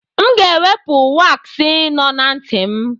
M ga-ewepụ waaksị nọ na ntị m.